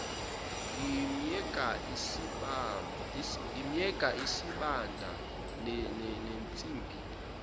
ngimyeka isibanda nensimbi